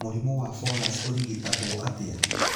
Mũrimũ wa Fowlers ũrigitagwo atĩa?